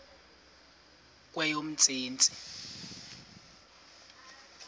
kweyomntsintsi